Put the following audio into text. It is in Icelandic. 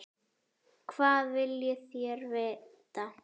Hvað viljið þér vita?